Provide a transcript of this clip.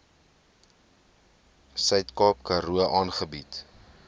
suidkaap karoo aangebied